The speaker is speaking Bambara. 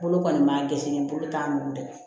Bolo kɔni ma gɛsɛnɛ bolo t'a nugu dɛ